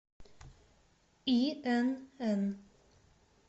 инн